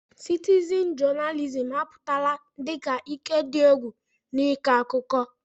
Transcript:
Citizin jonalizim apụtala dị ka ike dị egwu n'ịkọ akụkọ.